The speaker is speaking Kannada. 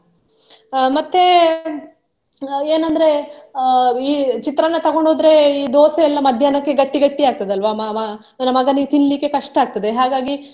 ಅಹ್ ಮತ್ತೆ ಅಹ್ ಏನಂದ್ರೆ ಅಹ್ ಈ ಚಿತ್ರಾನ್ನ ತಗೊಂಡ್ ಹೊದ್ರೆ ಈ ದೋಸೆ ಎಲ್ಲ ಮಧ್ಯಾಹ್ನಕ್ಕೆ ಗಟ್ಟಿ ಗಟ್ಟಿ ಆಗ್ತದೆ ಆಲ್ವಾ ಮ~ ಮ~ ನನ್ನ ಮಗನಿಗೆ ತಿನ್ಲಿಕ್ಕೆ ಕಷ್ಟ ಆಗ್ತದೆ ಹಾಗಾಗಿ.